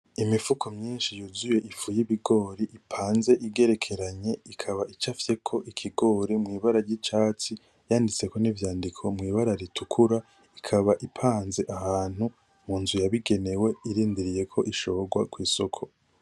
Imifuko myinshi yuzuye ifu yibigori ipanze igerekeranye, ikaba icafyeko ikigori mwibara ryicatsi, yanditseko nivyandiko mwibara ritukura. Ikaba ipanze ahantu mu nzu yabigenewe irindiriye ko ishorwa kwisoko.